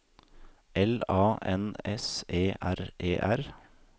L A N S E R E R